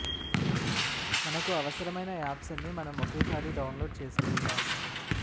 మనకు అవసరమైన యాప్స్ అన్నీ మనం ఒకేసారి డౌన్ లోడ్ చేసుకుంటాం